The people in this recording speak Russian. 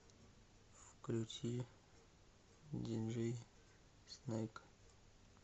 включи диджей снейк